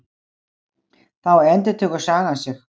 Þá endurtekur sagan sig.